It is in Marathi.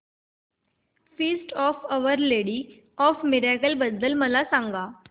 feast of our lady of miracles बद्दल मला सांगा